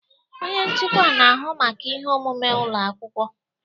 Onye nchịkwa na-ahụ maka ihe omume ụlọ akwụkwọ.